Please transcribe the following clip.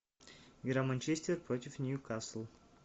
игра манчестер против ньюкасл